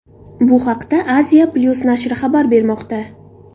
Bu haqda Asia-Plus nashri xabar bermoqda .